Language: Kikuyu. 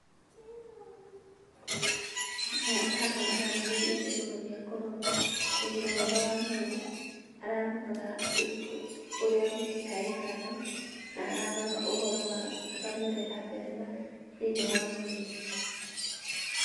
Ha haha mararĩrĩria igũrũ rĩa kũrorũo ũgima mwega wa mwĩrĩ. Aramũrora ũrĩa mĩkiha ĩhana na ararora ũhoro wa thakame ũrĩa ĩratherema thĩinĩ wa mwĩrĩ